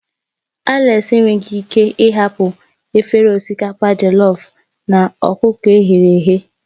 Alex enweghị ike ịhapụ efere osikapa jellof na ọkụkọ e ghere eghe.